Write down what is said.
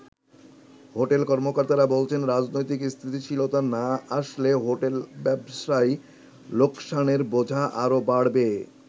Hotel কর্মকর্তারা বলছেন রাজনৈতিক স্থিতিশীলতা না আসলে হোটেল ব্যবসায় লোকসানের বোঝা আরো বাড়বে।